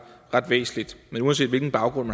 væsentligt men uanset hvilken baggrund